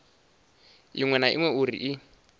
iṅwe na iṅwe uri i